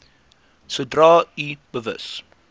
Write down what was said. sodra u bewus